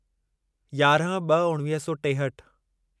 यारहं ब॒ उणिवीह सौ टेहठि